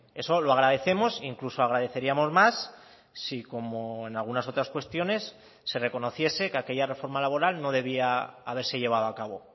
eso lo agradecemos incluso agradeceríamos más si como en algunas otras cuestiones se reconociese que aquella reforma laboral no debía haberse llevado a cabo